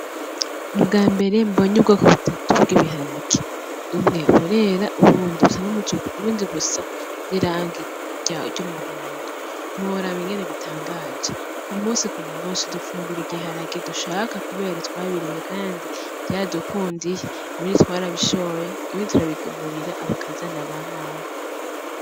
Ubwambere mbony'ubwoko butatu bw'ibiharage:ubwambere burera, ubundi busa n'irangi ry'umuhondo ntiworaba ingene bitangaje kumukumusi dufungur ibiharage dushaka kubera twabirimye kandi vyaradukundiye bimwe twarabishoye ibindi turabigemurira abakazana bamawe.